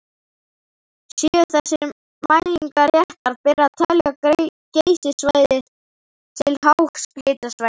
Séu þessar mælingar réttar ber að telja Geysissvæðið til háhitasvæða.